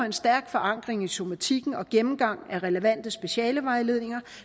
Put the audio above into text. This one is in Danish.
en stærk forankring i somatikken og gennemgang af relevante specialevejledninger